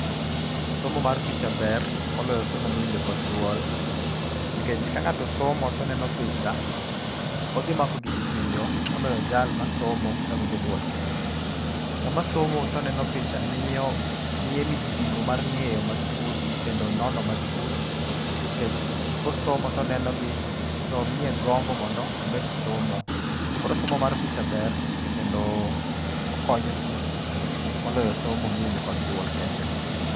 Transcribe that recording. Somo mar picha ber moloyo somo miwinjo kod dwol. Nikech ka ng'ato somo to oneno picha, odhi mako gigi piyo moloyo jal masomo kawinjo duol kende. Ng'ama somo to neno picha miyo miye mijing'o mar ng'eyo matut kendo nono matut nikech kosomo to oneno gi to miye gombo mondo omed somo. Koro somo mar picha ber kendo okonyoji moloyo somo miwinjo kod dwol kende.